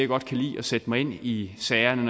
godt kan lide at sætte mig ind i sagerne